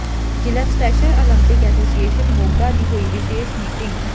ਜ਼ਿਲ੍ਹਾ special Olympic association Moga ਦੀ ਹੋਈ ਵਿਸ਼ੇਸ਼ ਮੀਟਿੰਗ